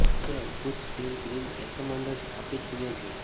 તે અદ્ભુત steel grill એકમ અંદર સ્થાપિત જુએ છે